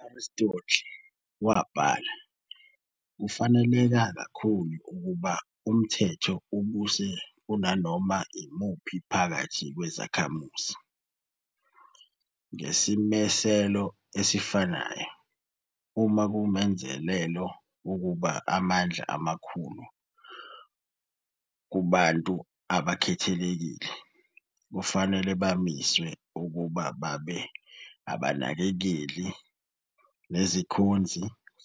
UAristotle wabhala - "Kufaneleka kakhulu ukuba unthetho ubuse kunanoma imuphi phakathi kwezakhamuzi- ngesimiselo esifanayo, uma kungumenzelelo ukubeka amandla amakhulu kubantu abakhethekile, kufanele bamiswe ukuba babe abanakekeli, nezikhonzi